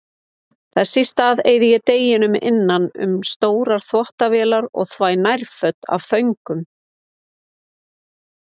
Þess í stað eyði ég deginum innan um stórar þvottavélar og þvæ nærföt af föngum.